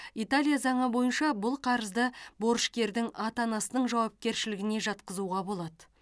италия заңы бойынша бұл қарызды борышкердің ата анасының жауапкершілігіне жатқызуға болады